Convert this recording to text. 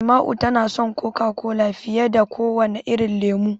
Shaima'u tana son Coca-Cola fiye da kowane irin lemo.